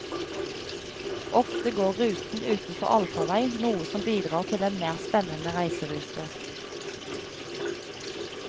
Ofte går ruten utenfor allfarvei, noe som bidrar til en mer spennende reiserute.